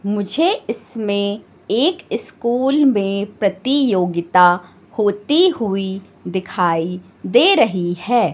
मुझे इसमें एक स्कूल में प्रतियोगिता होती हुई दिखाई दे रही है।